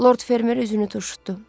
Lord Fermer üzünü turşutdu.